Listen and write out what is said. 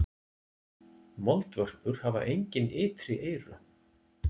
Moldvörpur hafa engin ytri eyru.